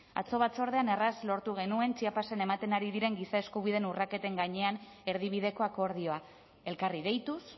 atzo batzordean erraz lortu genuen chiapasen ematen ari diren giza eskubideen urraketen gainean erdibideko akordioa elkarri deituz